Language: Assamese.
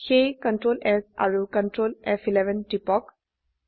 তাই Ctrl S আৰু Ctrl ফ11 টিপক